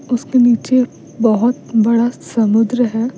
उसके नीचे बहुत बड़ा समुद्र है --